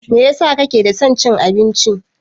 Meyasa kake da son cin abinci?